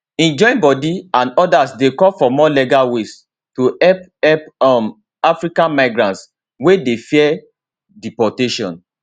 im joinbodi and odas dey call for more legal ways to help help um african migrants wey dey fear deportation